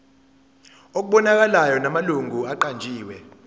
okubonakalayo namalungu aqanjiwe